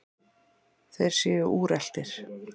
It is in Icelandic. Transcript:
Þeir séu úreltir.